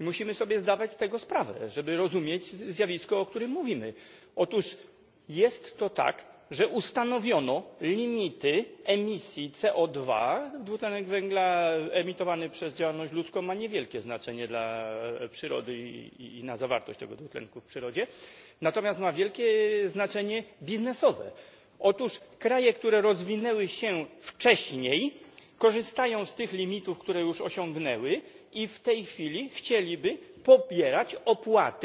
Musimy sobie zdawać z tego sprawę, żeby rozumieć zjawisko o którym mówimy. Otóż jest to tak, że ustanowiono limity emisji CO2 dwutlenek węgla emitowany przez działalność ludzką ma niewielkie znaczenie dla przyrody i na zawartość tego dwutlenku w przyrodzie, natomiast ma wielkie znaczenie biznesowe. Otóż kraje, które rozwinęły się wcześniej, korzystają z tych limitów, które już osiągnęły i w tej chwili chciałyby pobierać opłaty